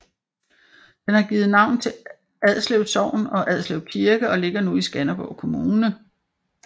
Den har givet navn til Adslev Sogn og Adslev Kirke og ligger nu i Skanderborg Kommune